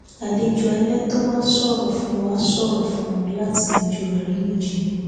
àlejò alẹ tó wá ṣòro fún wá ṣòro fún wọn láti yanjú àríyànjiyàn